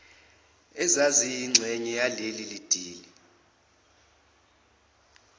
ezaziyingxenye yaleli dili